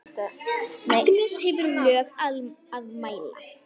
Agnes hefur lög að mæla.